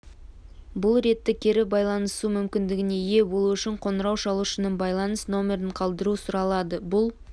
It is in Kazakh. бұл ретте кері байланысу мүмкіндігіне ие болу үшін қоңырау шалушының байланыс нөмірін қалдыру сұралады бұл